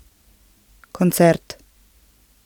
Koncert.